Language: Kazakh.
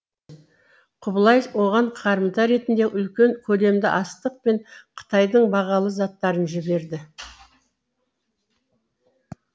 құбылай оған қарымта ретінде үлкен көлемді астық пен қытайдың бағалы заттарын жіберді